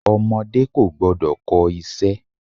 Ọmọdé kò gbọ́dọ̀ kọ iṣẹ́.